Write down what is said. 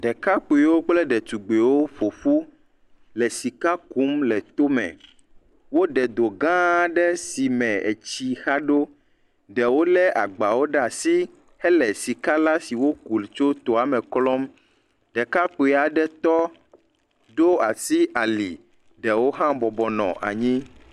Ɖekakpuiwo kple ɖetugbuiwo ƒo ƒu le sika kum le tome, woɖe do gã aɖe si me etsi xa ɖo, ɖewo lé agbawo ɖe asi hele sika si woku tso tome la klɔm, ɖekakpui aɖe tɔ ɖo asi ali, ɖewo hã bɔbɔ nɔ anyi.